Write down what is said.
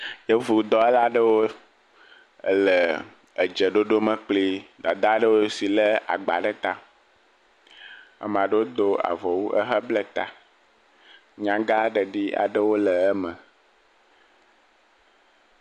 yevu dɔwɔlaɖewo ele dzeɖoɖo me kpli dada ɖowo si le agba ɖe tá amaɖowo dó avɔwu ehe ble ta nyagãɖeɖi aɖewo le eme